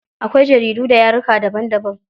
Akwai jaridu da yaruka daban daban.